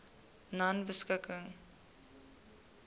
nonebeskikking